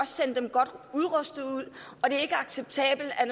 sende dem godt udrustet ud og det er ikke acceptabelt at